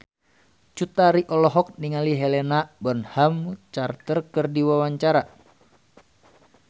Cut Tari olohok ningali Helena Bonham Carter keur diwawancara